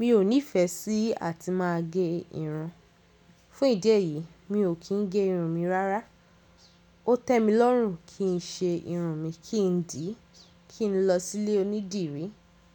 Mi ò nife sí àti máa gẹ irun. Fún ìdí èyí, mi ò kí ń gẹ irun mi rárá. Ó tẹ́ mi lọ́rùn kí n ṣe irun mi, kí n dìí, kí n lọ sí ilé onídìrí,